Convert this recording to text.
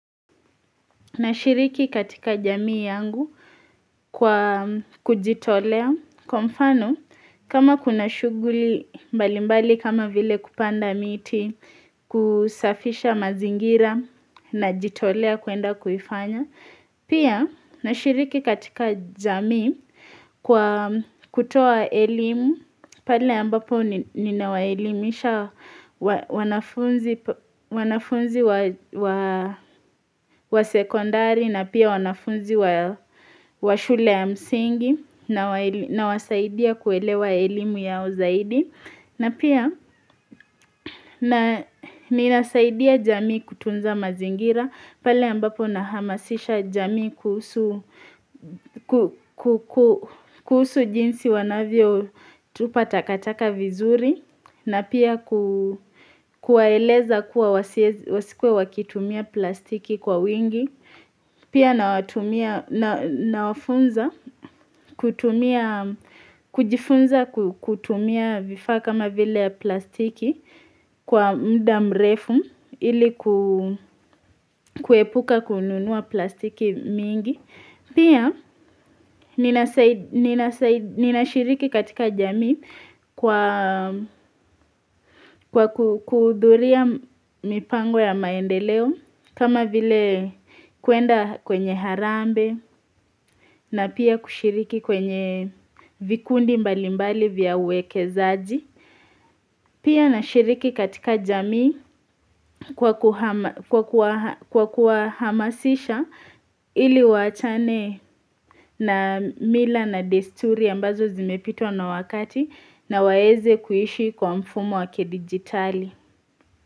Nashiriki katika jamii yangu kwa kujitolea, kwa mfano kama kuna shughuli mbalimbali kama vile kupanda miti kusafisha mazingira najitolea kwenda kuifanya. Pia, nashiriki katika jamii kwa kutoa elimu, pale ambapo ninawaelimisha wanafunzi wa wa wa sekondari na pia wanafunzi wa wa shule ya msingi nawasaidia kuelewa elimu yao zaidi. Na pia ninasaidia jamii kutunza mazingira, pale ambapo nahamasisha jamii kuhusu kuhusu jinsi wanavyotupa takataka vizuri, na pia kuwaeleza kuwa wasikuwe wakitumia plastiki kwa wingi. Pia nawafunza kutumia kujifunza kutumia vifaa kama vile plastiki kwa muda mrefu ili kuepuka kununua plastiki mingi. Pia ninashiriki katika jamii kwa kuhudhuria mipango ya maendeleo kama vile kwenda kwenye harambee na pia kushiriki kwenye vikundi mbalimbali vya uwekezaji. Pia nashiriki katika jamii kwa kwa kuwahamasisha ili waachane na mila na desturi ambazo zimepitwa na wakati na waweze kuishi kwa mfumo wa kidijitali.